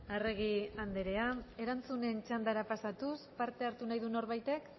arregi andrea erantzunen txandara pasatuz parte hartu nahi du norbaitek